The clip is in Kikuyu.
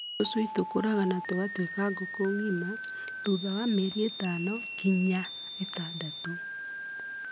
Tũcui tũkũraga na gũtũika ngũkũ ng'ima thutha wa mĩeri ĩtano nginya ĩtandatũ.